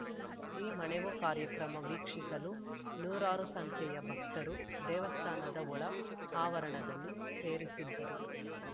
ಈ ಮಣೆವು ಕಾರ್ಯಕ್ರಮ ವೀಕ್ಷಿಸಲು ನೂರಾರು ಸಂಖ್ಯೆಯ ಭಕ್ತರು ದೇವಸ್ಥಾನದ ಒಳ ಆವರಣದಲ್ಲಿ ಸೇರಿಸಿದ್ದರು